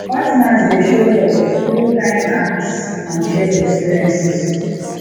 partners dey show love through kind acts and shared experiences